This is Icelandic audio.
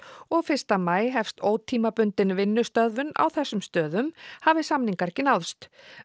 og fyrsta maí hefst ótímabundin vinnustöðvun á þessum sömu stöðum hafi samningar ekki náðst